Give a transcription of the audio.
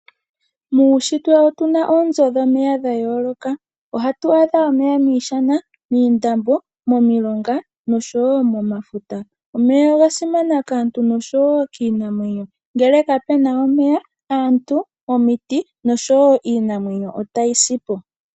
Muunshitwe otuna oonzo dhomomeya dha yooloka .Ohatu adha omeya miishana, moondombe, momilonga nosho woo momafuta. Omeya oga simana kaantu nosho woo kiinamwenyo. Ngele kapuna omeya aantu omiti nosho woo iinamwenyo otayi sipo.